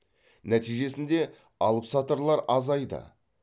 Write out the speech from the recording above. нәтижесінде алыпсатарлар азайды